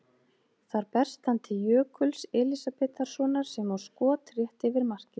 Þar berst hann til Jökuls Elísabetarsonar sem á skot rétt yfir markið.